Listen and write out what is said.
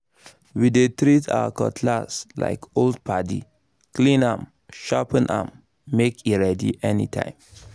we dey treat our cutlass like old padi—clean am sharpen am make e ready anytime